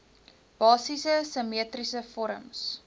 basiese simmetriese vorms